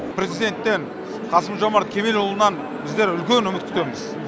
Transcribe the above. президенттен қасым жомарт кемелұлынан бізлер үлкен үміт күтеміз